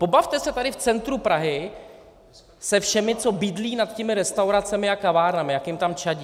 Pobavte se tady v centru Prahy se všemi, co bydlí nad těmi restauracemi a kavárnami, jak jim tam čadí.